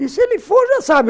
E se ele for, já sabe.